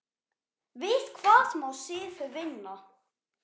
Við hvað má Sif vinna?